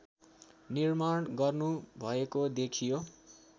निर्माण गर्नुभएको देखियो